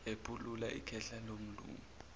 ephulula ikhehla lomlungu